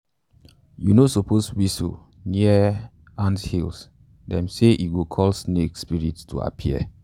you no suppose whistle um near um near um anthills - them say e go call snake um spirits to appear.